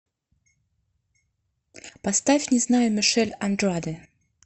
поставь не знаю мишель андраде